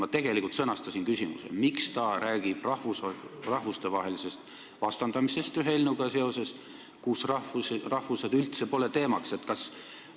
Ma tegelikult sõnastasin küsimuse nii: miks ta räägib rahvuste vastandamisest seoses eelnõuga, kus rahvused pole üldse teemaks?